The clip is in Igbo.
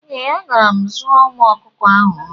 Eeh, agara m zụọ ụmu ọkụkọ ahụ nri